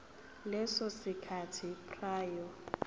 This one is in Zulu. leso sikhathi prior